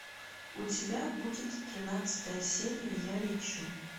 у тебя будет тринадцатая серия я лечу